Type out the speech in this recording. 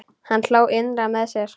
Hann hló innra með sér.